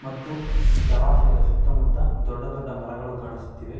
ಮತ್ತು ಜಲಾಶಯದ ಸುತ್ತ ಮುತ್ತ ದೊಡ್ಡ ದೊಡ್ಡ ಮರಗಳು ಕಾಣಿಸುತ್ತಿವೆ .